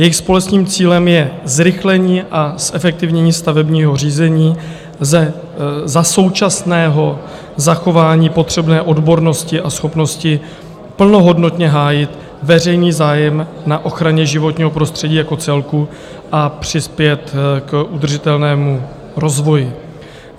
Jejich společným cílem je zrychlení a zefektivnění stavebního řízení za současného zachování potřebné odbornosti a schopnosti plnohodnotně hájit veřejný zájem na ochraně životního prostředí jako celku a přispět k udržitelnému rozvoji.